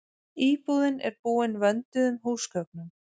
Íbúðin er búin vönduðum húsgögnum